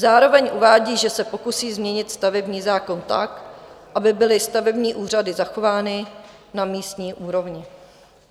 Zároveň uvádí, že se pokusí změnit stavební zákon tak, aby byly stavební úřady zachovány na místní úrovni.